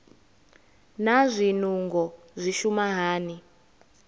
naa zwinungo zwi shuma hani